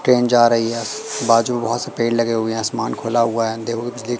Train जा रही है। बाजू बहुत पेड़ लगे हुए आसमान खुला हुआ है। देखो बिजली--